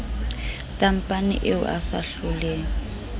tampane eo a sa hloleng